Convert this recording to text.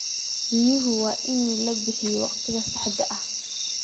Biyaha waa in la bixiyaa waqtiga saxda ah.